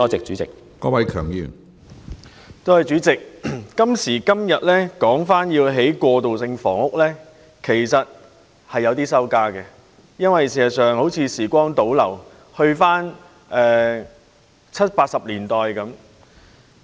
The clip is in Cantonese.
主席，我們今時今日再次討論興建過渡性房屋，是有點兒羞愧的，因為就好像時光倒流，回到了七八十年代。